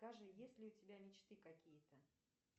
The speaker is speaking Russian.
скажи есть ли у тебя мечты какие то